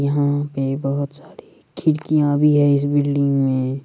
यहाँ पे बहुत सारी खिड़किया भी है इस बिल्डिंग मे।